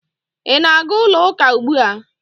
Ị na-aga ụlọ ụka ugbu a?